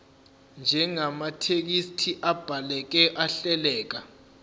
njengamathekisthi abhaleke ahleleka